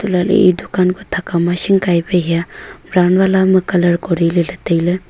elah ley e dukaan kuh thakao ma shingkai pe hiya brown vala ame colour kori ley tailey.